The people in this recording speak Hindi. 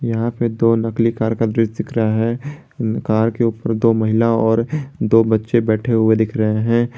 यहां पे दो नकली कार का दृश्य दिख रहा है कार के ऊपर दो महिला और दो बच्चे बैठे हुए दिख रहे हैं।